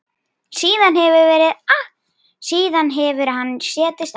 Síðan hefur hann setið fastur.